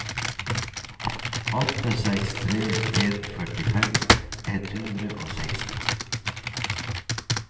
åtte seks tre en førtifem ett hundre og seksten